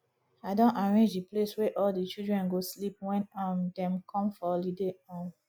i don arrange the place wey all the children go sleep wen um dem come for holiday um